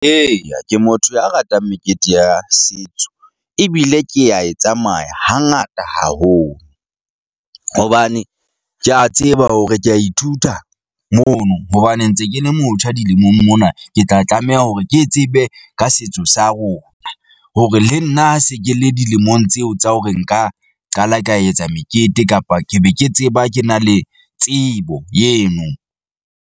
Eya, ke motho ya ratang mekete ya setso ebile ke a e tsamaya hangata haholo, hobane ke a tseba hore ke a ithuta mono hobane, ntse ke le motjha dilemong mona. Ke tla tlameha hore ke tsebe ka setso sa rona, hore le nna ha se ke le dilemong tseo tsa hore nka qala ka etsa mekete kapa ke be ke tseba ke na le tsebo yeno.